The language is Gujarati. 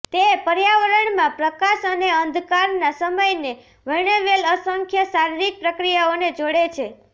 તે પર્યાવરણમાં પ્રકાશ અને અંધકારના સમયને વર્ણવેલ અસંખ્ય શારીરિક પ્રક્રિયાઓને જોડે છે